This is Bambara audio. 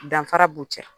Danfara b'u cɛ